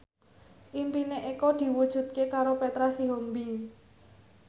impine Eko diwujudke karo Petra Sihombing